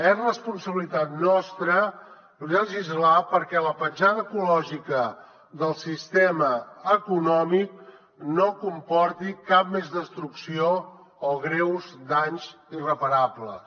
és responsabilitat nostra legislar perquè la petjada ecològica del sistema econòmic no comporti cap més destrucció o greus danys irreparables